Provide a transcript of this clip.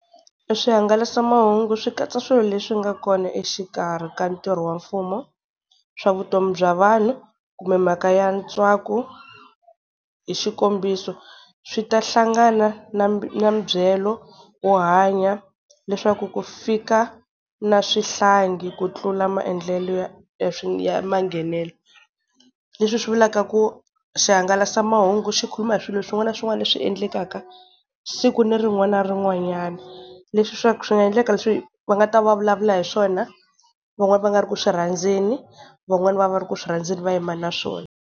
Swihangalasamahungu swi katsa swilo leswi nga kona exikarhi ka ntirho wa mfumo, swa vutomi bya vanhu, kumbe mhaka ya ntswako. Hi xikombiso swi ta hlangana na na mibyelo wo hanya, leswaku ku fika na swihlangi ku tlula maendlelo ya ya manghenelo. Leswi hi swi vulaka ku swihangalasamahungu xi khuluma hi swilo swin'wana na swin'wana leswi endlekaka siku ni rin'wana ni rin'wanyana. Leswi swa ku swi nga endleka leswi va nga ta va va vulavula hi swona van'wani va nga ri ku swi rhandzani van'wani va nga ri ku swi rhandzani va yima naswona.